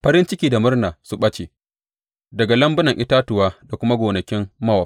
Farin ciki da murna su ɓace daga lambunan itatuwa da kuma gonakin Mowab.